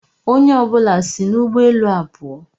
Onye ọ bụla si n'ụgbọ elu a pụọ.